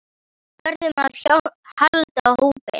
Við verðum að halda hópinn!